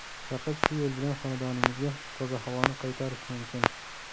Faqat shu yo‘l bilan xonadoningizga toza havoni qaytarish mumkin.